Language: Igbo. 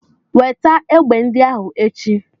Weta egbe ndị ahụ echi!